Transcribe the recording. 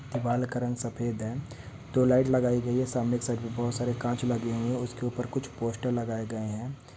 दीवाल का रंग सफेद है तो लाइट लगायी गयी है सामने के साइड पे बहुत सारे कांच लगे हुए है उसके ऊपर कुछ पोस्टर लगाया गए है।